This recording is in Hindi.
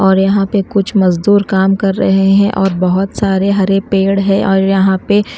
और यहां पे कुछ मजदूर काम कर रहे हैं और बहुत सारे हरे पेड़ है और यहां पे --